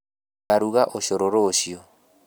Ngaruga ũcũrũ rũciu